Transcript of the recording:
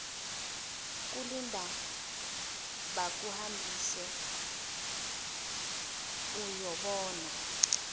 kulinda bakuhambise uyobona